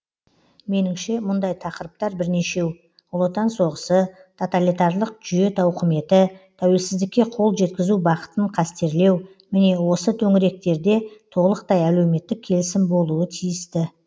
меніңше мұндай тақырыптар бірнешеу ұлы отан соғысы тоталитарлық жүйе тауқыметі тәуелсіздікке қол жеткізу бақытын қастерлеу міне осы төңіректерде толықтай әлеуметтік келісім болуы тиісті